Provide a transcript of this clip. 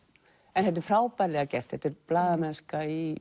en þetta er frábærlega gert blaðamennska í